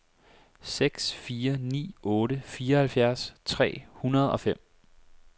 seks fire ni otte fireoghalvfjerds tre hundrede og fem